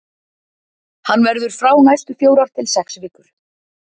Hann verður frá næstu fjórar til sex vikur.